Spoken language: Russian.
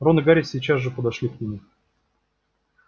рон и гарри сейчас же подошли к нему